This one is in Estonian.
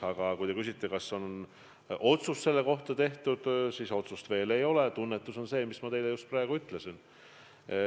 Aga kui te küsite, kas on otsus selle kohta tehtud, siis otsust veel ei ole, lihtsalt tunnetus on selline, nagu ma praegu teile ütlesin.